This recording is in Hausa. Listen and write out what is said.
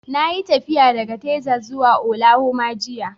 Na yi tafiya daga Texas zuwa Oklahoma jiya